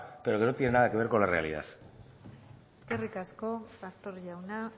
pero que no tiene nada que ver con la realidad eskerrik asko pastor jauna